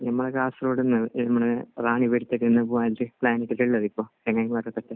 ഞങ്ങൾക്ക് ഇന്ന് പ്ലാൻ ഇട്ടിട്ടുണ്ട്.